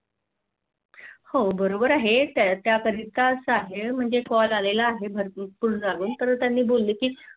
हो बरोबर आहे त्यापरी का असा आहे म्हणजे Call आलेला आहे भरपूर तर त्यानी बोलल की